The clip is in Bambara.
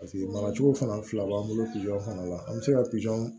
Paseke maracogo fana fila b'an bolo fana la an bɛ se ka